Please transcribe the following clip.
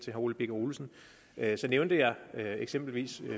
herre ole birk olesen nævnte jeg eksempelvis